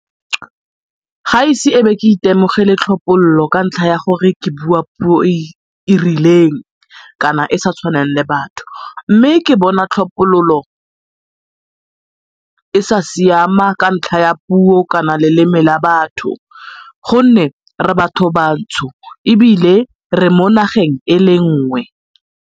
Ga ise e be ke itemogele tlhophololo ka ntlha ya gore ke bua puo e e rileng kana e e sa tshwaneng le batho mme ke bona tlhophololo e sa siama ka ntlha ya puo kana leleme la batho gonne re batho bantsho ebile re mo nageng e le nngwe.